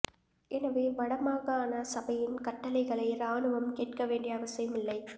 எனவே வடமாகாண சபையின் கட்டளைகளை இராணுவம் கேட்க வேண்டிய அவசியம் இல்லை